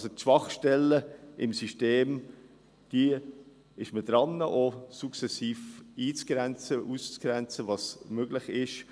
– Bei diesen Schwachstellen im System ist man daran, sukzessive einzugrenzen – auszugrenzen, was möglich ist.